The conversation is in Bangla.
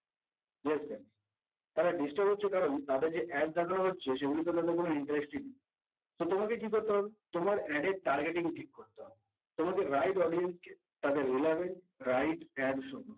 yes friends তারা disturb হচ্ছে কারণ তাদের যে এড দেখানো হচ্ছে সেগুলোর প্রতি তারা interested না so তোমাকে কি করতে হবে তোমার ad targeting ঠিক করতে হবে তোমাকে right audience কে তাদের releavent right ad show করতে হবে